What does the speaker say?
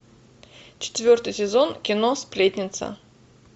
четвертый сезон кино сплетница